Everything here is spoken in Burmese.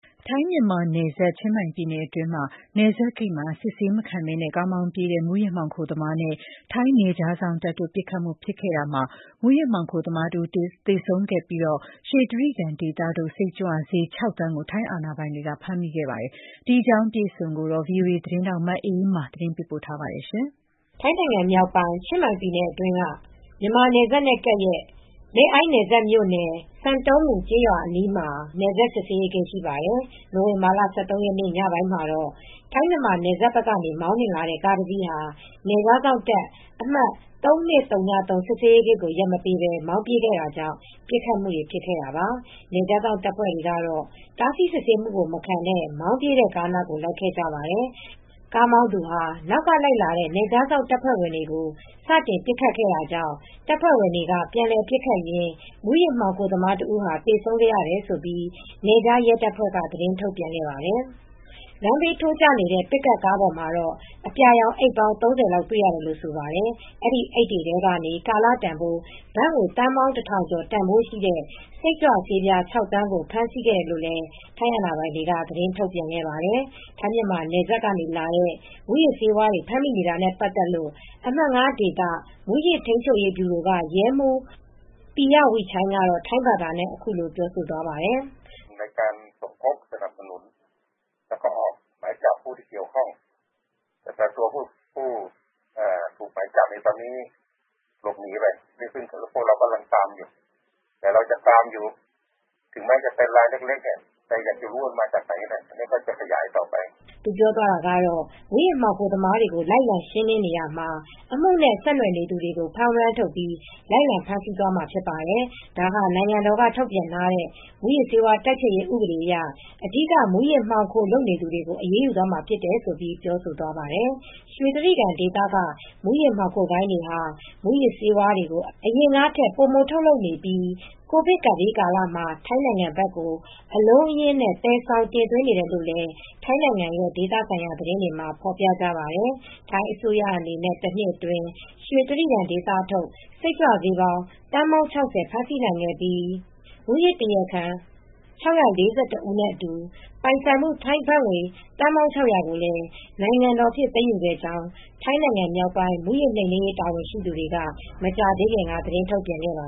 ထိုင်း-မြန်မာနယ်စပ်၊ ချင်းမိုင်ပြည်နယ်အတွင်းက နယ်စပ်ဂိတ်မှာ စစ်ဆေးမခံဘဲ ကားမောင်းပြေးတဲ့ မူးယစ်မှောင်ခိုသမားနဲ့ ထိုင်းနယ်ခြားစောင့်တပ်တို့ ပစ်ခတ်မှု ဖြစ်ခဲ့တာမှာ မူးယစ်မှောင်ခိုသမားတဦး သေဆုံးခဲ့ပြီး ရွှေတြိဂံဒေသထုတ် စိတ်ကြွဆေး ၆ သန်းကို ထိုင်းအာဏာပိုင်တွေက ဖမ်းမိခဲ့ပါတယ်။ ဒီအကြောင်း ဗွီအိုအေသတင်းထောက် မအေးအေးမာ သတင်းပေးပို့ထားပါတယ်။ ထိုင်းနိုင်ငံမြောက်ပိုင်း ချင်းမိုင်ပြည်နယ်အတွင်းက မြန်မာနယ်စပ်နဲ့ ကပ်ရက် Mae Ai နယ်စပ်မြို့နယ် San Ton Mue ကျေးရွာအနီး နယ်ခြား ရဲစစ်ဆေးဂိတ် ရှိပါတယ်။ နိုဝင်ဘာလ ၁၃ ရက်နေ့ ညနေပိုင်းမှာတော့ ထိုင်း-မြန်မာနယ်စပ်ဘက်ကနေ မောင်းနှင်လာတဲ့ ကားတစီးဟာ နယ်ခြားစောင့်တပ် အမှတ် ၃၂၀၃ စစ်ဆေးဂိတ်ကို ရပ်မပေးဘဲ မောင်းပြေးခဲ့တာကြောင့် ပစ်ခတ်မှုတွေ ဖြစ်ခဲ့တာပါ။ နယ်ခြားစောင့်တပ်ဖွဲ့ဝင်တွေကတော့ တားဆီးစစ်ဆေးမှုကို မခံဘဲ မောင်းပြေးတဲ့ ကားနောက်ကို လိုက်ခဲ့ကြပါတယ်။ ကားမောင်းသူဟာ နောက်ကလိုက်လာတဲ့ နယ်ခြားစောင့် တပ်ဖွဲ့ဝင်တွေကို စတင်ပစ်ခတ်ခဲ့တာကြောင့် တပ်ဖွဲ့ဝင်တွေက ပြန်လည်ပစ်ခတ်ခဲ့ရင်း မူးယစ်မှောင်ခိုသမားတဦး သေဆုံးခဲ့တယ်လို့ နယ်ခြားစောင့်ရဲတပ်ဖွဲ့က သတင်းထုတ်ပြန်ခဲ့ပါတယ်။ လမ်းဘေးထိုးကျနေတဲ့ Toyota Vigo pick-up ကားပေါ်မှာတော့ အပြာရောင် အိတ်ပေါင်း ၃၀ လောက် တွေ့ရတယ်လို့ ဆိုပါတယ်။ အဲဒီအိတ်တွေထဲကနေ ကာလတန်ဖိုး ဘတ်သန်းပေါင်း ၁,၀၀၀ ကျော်တန်ဖိုးရှိတဲ့ စိတ်ကြွဆေးပြား ၆ သန်းကို ဖမ်းဆီးခဲ့တယ်လို့ ထိုင်းအာဏာပိုင်တွေက သတင်းထုတ်ပြန်ခဲ့ပါတယ်။ ထိုင်း-မြန်မာနယ်စပ်ကလာတဲ့ မူးယစ်ဆေးဝါးတွေ ဖမ်းမိနေတာနဲ့ ပတ်သက်လို့ အမှတ် ၅ ဒေသ မူးယစ်ထိန်းချုပ်ရေးဗျူရိုက ရဲမှူး ပီရဝိချိုင်းက ထိုင်းဘာသာနဲ့ အခုလိုပြောသွားပါတယ်။ “မူးယစ်မှောင်ခိုသမားတွေကို လိုက်လံ ရှင်းလင်းနေရာမှာ အမှုနဲ့ ဆက်နွှယ်နေသူ အားလုံးကို ဖမ်းဝရမ်းထုတ်ပြီး လိုက်လံဖမ်းဆီးမှာ ဖြစ်ပါတယ်။ ဒါဟာ နိုင်ငံတော်က ထုတ်ပြန်ထားတဲ့ မူးယစ်ဆေးဝါးတိုက်ဖျက်ရေး ဥပဒေအရ အဓိက မူးယစ်မှောင်ခို လုပ်သူတွေကို အရေးယူသွားမှာ ဖြစ်တယ်။” လို့ ပြောဆိုသွားပါတယ်။ ရွှေတြိဂံဒေသက မူးယစ်မှောင်ဂိုဏ်းတွေဟာ မူးယစ်ဆေးတွေကို အရင်ကထက် ပိုထုတ်လုပ်နေပြီး ကိုဗစ်ကပ်ဘေးကာလမှာ ထိုင်းဘက်ကို အလုံးအရင်း သယ်ဆောင်တင်သွင်းနေတယ်လို့လည်း ထိုင်းနိုင်ငံရဲ့ ဒေသဆိုင်ရာ သတင်းတွေမှာ ဖော်ပြကြပါတယ်။ ထိုင်းအစိုးရအနေနဲ့ တနှစ်အတွင်း ရွှေတြိဂံဒေသထုတ် စိတ်ကြွဆေး သန်းပေါင်း ၆၀ ဖမ်းဆီးနိုင်ခဲ့ပြီး မူးယစ်တရားခံ ၆၄၁ ဦးနဲ့အတူ ပိုင်ဆိုင်မှုတန်ဖိုး ဘတ်သန်းပေါင်း ၆၀၀ ကျော်ကို နိုင်ငံတော်ပိုင် သိမ်းယူခဲ့ကြောင်း ထိုင်းနိုင်ငံမြောက်ပိုင်း မူးယစ်နှိမ်နင်းရေး တာဝန်ရှိသူများကလည်း မကြာသေးခင်က သတင်းထုတ်ပြန်ခဲ့ပါ